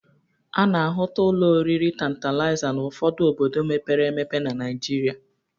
A na-ahụta ụlọ oriri Tantalịza n'ọfụdụ obodo mepere emepe na Naịjịrịa.